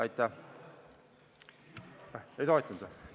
Ei toetanud või?